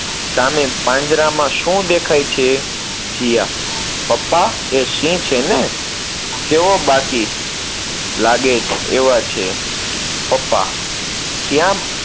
સામે પાંજરામાં શું દેખાય છે? જીયા, પપ્પા, એ સિંહ છે ને! કેવો બાકી લાગે એવા છે, પપ્પા, ક્યાં